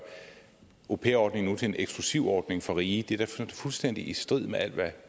au pair ordningen til en eksklusiv ordning få rige det er da fuldstændig i strid med alt hvad